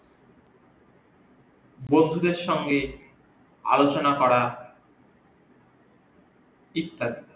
বন্ধুদের সঙ্গে আলচনা করা ইত্যাদি